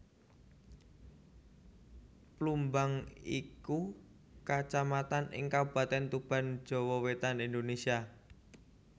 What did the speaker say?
Plumbang iku Kacamatan ing Kabupatèn Tuban Jawa Wétan Indonésia